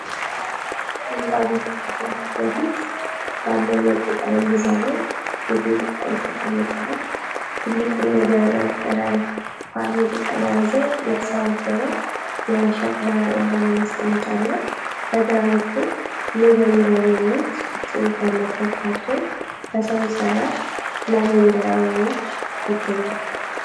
ሐምራዊ ግድግዳ ፊት ለፊት ባለው ነጭ ጠረጴዛ ላይ የጌጥ ዕቃዎች ተቀምጠዋል። ትልቁን የደረቀ ፓልም ቅጠል የያዘ የተሰባበረ የሸክላ የአበባ ማስቀመጫ አለ። በግራ በኩል “LAVENDER” የሚል ጽሑፍ ያለበት ካርቶን በሰው ሰራሽ ላቬንደር አበባዎች ይገኛል።